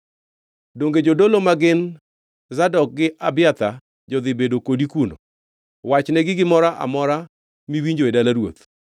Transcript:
Donge jodolo ma gin Zadok gi Abiathar jodhi bedo kodi kuno? Wachnegi gimoro amora miwinjo e dala ruoth.